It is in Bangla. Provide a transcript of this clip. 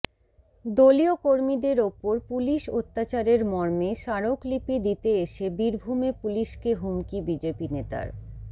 দলীয় কর্মীদের ওপর পুলিশ অত্যাচারের মর্মে স্মারকলিপি দিতে এসে বীরভূমে পুলিশকে হুমকি বিজেপি নেতার